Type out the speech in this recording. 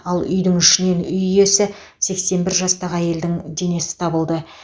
ал үйдің ішінен үй иесі сексен бір жастағы әйелдің денесі табылды